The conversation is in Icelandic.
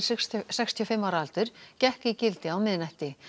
sextíu og fimm ára aldur gekk í gildi á miðnætti